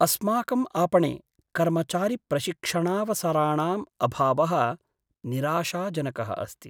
अस्माकं आपणे कर्मचारिप्रशिक्षणावसराणाम् अभावः निराशाजनकः अस्ति।